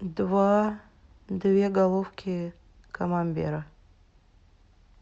два две головки камамбера